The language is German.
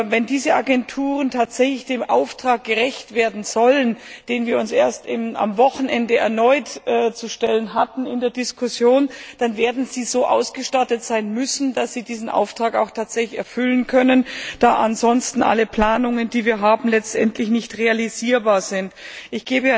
Wenn diese Agenturen tatsächlich dem Auftrag gerecht werden sollen, mit dem wir uns erst am Wochenende erneut auseinanderzusetzen hatten, dann werden sie so ausgestattet sein müssen, dass sie diesen Auftrag tatsächlich erfüllen können, da ansonsten alle Planungen, die wir haben, letztendlich nicht realisierbar sein werden.